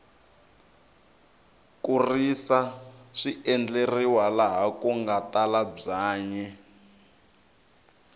ku risa swi endleriwa laha kunga tala byanyi